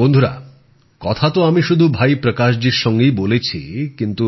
বন্ধুরা কথা তো আমি শুধু ভাই প্রকাশ জীর সঙ্গেই বলেছি কিন্তু